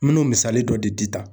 N bɛ n'o misali dɔ di di tan.